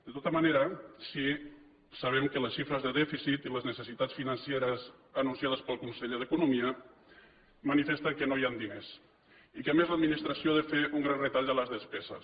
de tota manera sí que sabem que les xifres de dèficit i les necessitats financeres anunciades pel conseller d’economia manifesten que no hi han diners i que a més l’administració ha de fer un gran retall de les despeses